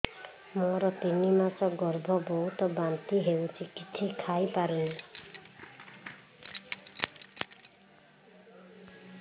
ମୋର ତିନି ମାସ ଗର୍ଭ ବହୁତ ବାନ୍ତି ହେଉଛି କିଛି ଖାଇ ପାରୁନି